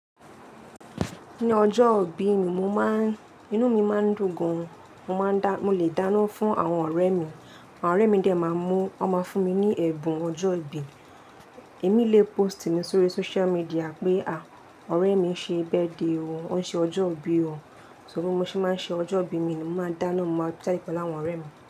Ní ọjọ́ ìbí mi, mo máa ń, inú mi máa ń dùn gan. Mo máa ń dá, mo lè dáná fún àwọn ọ̀rẹ́ mi, àwọn ọ̀rẹ́ mi dẹ máa mú, wọn máa fún mi ní ẹ̀bùn ọjọ́ ìbí. Èmi lè pósìtì mi sórí social media pé, à, ọ̀rẹ́ mi ṣe bẹ́ẹ̀de o, ó ń ṣe ọjọ́ ìbí o. Só bó mo ṣe máa ń ṣe ọjọ́ ìbí mi ni, mo máa dáná, mo máa check pa láwọn ọ̀rẹ́ mi.